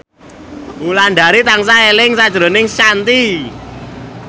Wulandari tansah eling sakjroning Shanti